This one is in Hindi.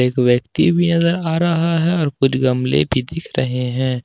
एक व्यक्ति भी नजर आ रहा है और कुछ गमले भी दिख रहे हैं।